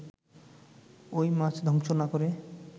ওই মাছ ধ্বংস না করে